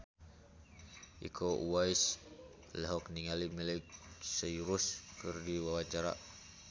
Iko Uwais olohok ningali Miley Cyrus keur diwawancara